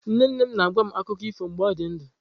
Nne nne m na-agwa m akụkọ ifo mgbe ọ dị ndụ.